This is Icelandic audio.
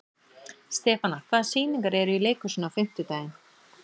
Stefana, hvaða sýningar eru í leikhúsinu á fimmtudaginn?